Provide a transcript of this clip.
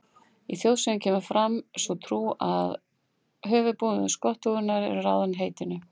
Í þjóðsögum kemur fram sú trú að höfuðbúnaður skottunnar hafi ráðið heitinu.